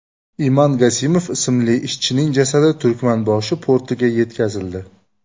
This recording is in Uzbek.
Iman Gasimov ismli ishchining jasadi Turkmanboshi portiga yetkazildi.